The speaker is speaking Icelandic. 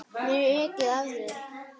Mér er ekið af þér.